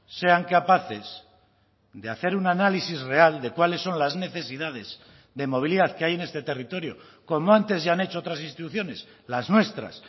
sean capaces de hacer un análisis real de cuáles son las necesidades de movilidad que hay en este territorio como antes ya han hecho otras instituciones las nuestras